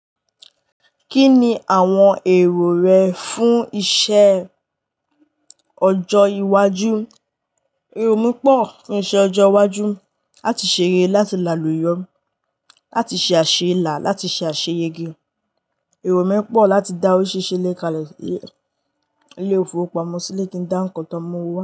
Kí ni àwọn èrò rẹ fún iṣẹ ọjọ́ iwájú? Ẹ̀rọ mi pọ̀, ni iṣẹ ọjọ iwájú, láti ṣeré, láti làáluyo, láti ṣe àṣela, láti ṣe àṣeyẹge, èrò mí pọ̀ láti da orisirisi ile kale, ilé ìfowópamọ́ sí, ilẹ̀ kí n dá ńkan tán mú owó wa.